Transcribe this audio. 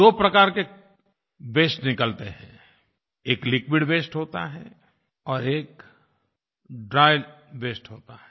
दो प्रकार के वास्ते निकलते हैं एक लिक्विड वास्ते होता है और एक ड्राय वास्ते होता है